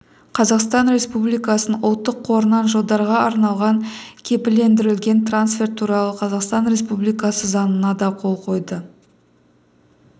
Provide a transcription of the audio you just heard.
қазақстан республикасының ұлттық қорынан жылдарға арналған кепілдендірілген трансферт туралы қазақстан республикасы заңына да қол қойды